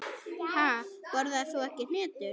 Ha, borðar þú ekki hnetur?